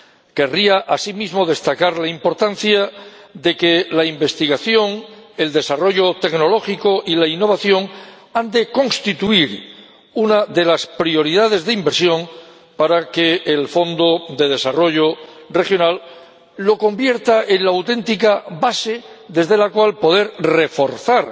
Querría, asimismo, destacar la importancia de que la investigación, el desarrollo tecnológico y la innovación constituyan una de las prioridades de inversión para que el Fondo de Desarrollo Regional los convierta en la auténtica base desde la cual poder reforzar